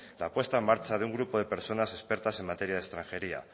la puesta en marcha de un grupo de personas expertas en materia de extranjería